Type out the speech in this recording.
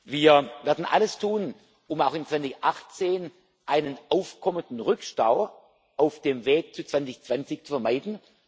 sind. Wir werden alles tun, um auch 2018 einen aufkommenden Rückstau auf dem Weg zu 2020 zu vermeiden.